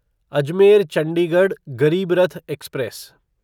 Ajmer Chandigarh Garib Rath express